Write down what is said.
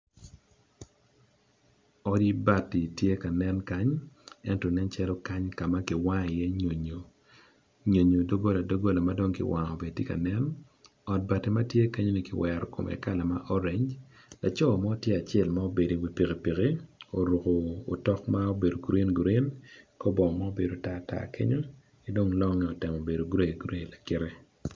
Odi bati tye ka nen kany ento nen calo kany kama kiwango i ye nyo nyo, nyonyo dogola dogola madong kiwango tye ka nen ot bati matye kenyo ni kiwero kome kala ma orange, laco mo tye acel ma obedo i wi pikipiki oruko otok ma obedo grin grin kor bongo ma obedo tar tar kenyo kidong longe otemo bedo grey grey lakite.